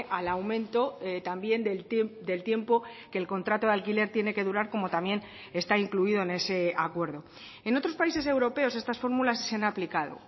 al aumento también del tiempo que el contrato de alquiler tiene que durar como también está incluido en ese acuerdo en otros países europeos estas fórmulas se han aplicado